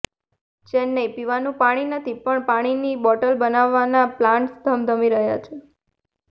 ચેન્નાઈઃ પીવાનું પાણી નથી પણ પાણીની બોટલ બનાવવાના પ્લાન્ટ્સ ધમધમી રહ્યા છે